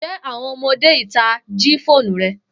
Njẹ awọn ọmọde ita ji foonu rẹ?